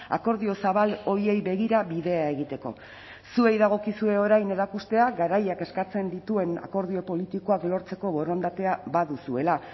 akordio zabal horiei begira bidea egiteko zuei dagokizue orain erakustea garaiak eskatzen dituen akordio politikoak lortzeko borondatea baduzuela